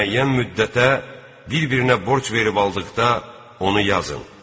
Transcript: Müəyyən müddətə bir-birinə borc verib aldıqda onu yazın.